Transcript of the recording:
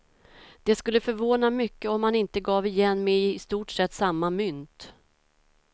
Det skulle förvåna mycket om han inte gav igen med i stort sett samma mynt.